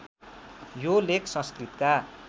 यो लेख संस्कृतका